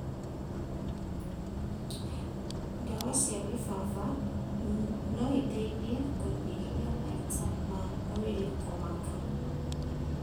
Ndawa cia gĩbaba noiteithie kũnyihia maita ma mwĩrĩ kũmaka